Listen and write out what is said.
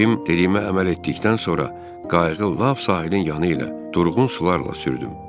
Cim dediyimə əməl etdikdən sonra qayığı lap sahilin yanı ilə durğun sularla sürdüm.